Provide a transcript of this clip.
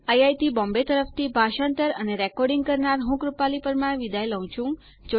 IIT Bombay તરફ થી ભાષાંતર કરનાર હું કૃપાલી પરમાર વિદાય લઉં છું